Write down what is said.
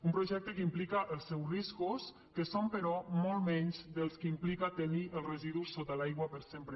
un projecte que implica els seus riscos que són però molts menys dels que implica tenir els residus sota l’aigua per sempre